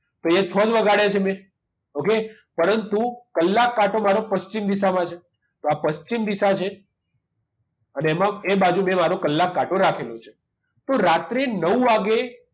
તો અહીંયા છ જ વગાડ્યા છે મેં okay પરંતુ કલાક કાંટો મારો પશ્ચિમ દિશામાં છે તો આ પશ્ચિમ દિશા છે અને એમાં એ બાજુ મેં મારો કલાક કાંટો રાખેલો છે તો રાત્રે નવ વાગ્યે